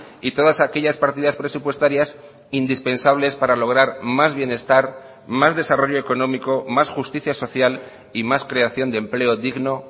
y todas aquellas partidas presupuestarias indispensables para lograr más bienestar más desarrollo económico más justicia social y más creación de empleo digno